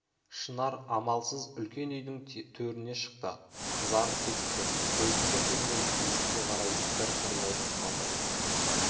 шынар амалсыз үлкен үйдің теріне шықты қызарып кетіпті көзін көтермей есікке қарай бір қырын отырып қалды